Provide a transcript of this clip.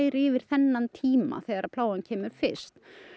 yfir þennan tíma þegar plágan kemur fyrst